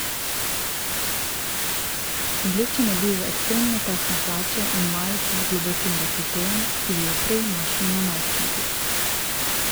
Oblečen je v ekstremno tesne hlače in majico z globokim dekoltejem, ki bi jo prej našli na najstniku.